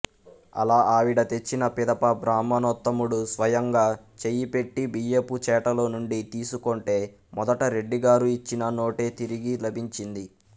అలా ఆవిడ తెచ్చిన పిదప బ్రాహ్మణోత్తముడు స్వయంగా చేయిపెట్టి బియ్యపుచేటలోనుండి తీసుకొంటే మొదట రెడ్డిగారు ఇచ్చిన నోటే తిరిగి లభించింది